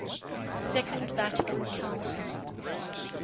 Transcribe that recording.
second vatican council